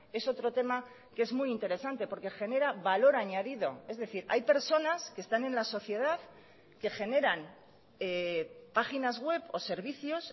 es otro tema que es muy interesante porque genera valor añadido es decir hay personas que están en la sociedad que generan páginas web o servicios